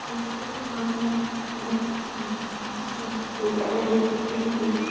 यहाँ पे बहुत सारे लोग है एक प्लेट दिख रही है।